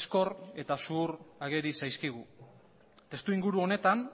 ezkor eta zuhur ageri zaizkigu testuinguru honetan